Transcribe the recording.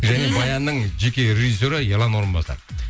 және баянның жеке режиссері ерлан орынбасаров